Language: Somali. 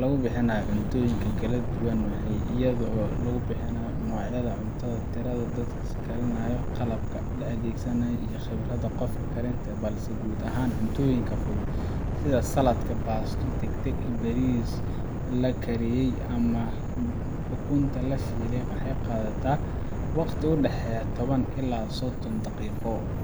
la bixinayo diyaarinta cuntooyinka wuu kala duwan yahay iyadoo lagu xisaabtamo nooca cuntada, tirada dadka loo karinayo, qalabka la adeegsanayo, iyo khibradda qofka karinta balse guud ahaan cuntooyinka fudud sida saladhka, baasto degdeg ah, bariis la kariyay, ama ukunta shiilan waxay qaataan wakhti u dhexeeya toban ilaa sodon daqiiqo